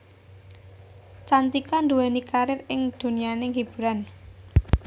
Cantika nduweni karir ing donyaning hiburan